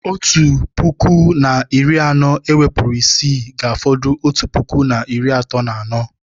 Otu puku na iri anọ ewepụrụ isii, ga-afọdụ otu puku na iri atọ na anọ